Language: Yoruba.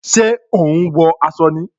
Ṣé o ń wọ aṣọ ni?